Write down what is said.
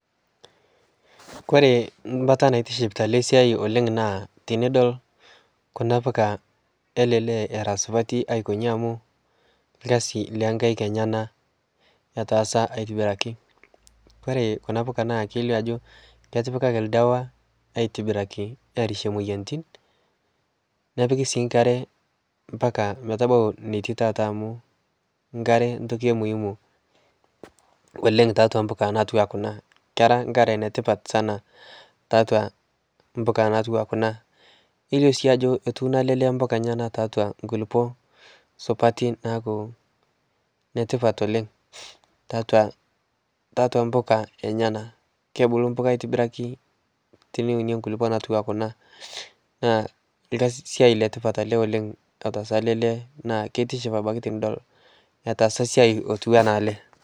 Kore baata naitiship oleng' tena siai naa tenidol kuna puka ele lee era supati akojin amuu karsi lonkaik enyena etasa aitibiraki. Kore kuna puka naa kelio ajo ketipake ake oldawa aitibiraki airshie moyiaritin. Nepiki sii nkare mpaka metabau natii tenakata amuu nkate ntoki emuhimu oleng tiatua mpuka natiu enaa kuna, kera nkare netipat tiatua kuna mpuka natiu enaa kuna. Kelio si ajo etuno elee lee mpuka enyenak tiatua nkulupuok supati naaku netipat oleng' tiatua mpuka enyenak. Kebulu mpuka aitibaraki teniunie nkulupuok natiu enaa kuna naa etaasa ele lee siai letipat oleng' ele na kitiship tenidol otasa esiai loitiui enaa ele.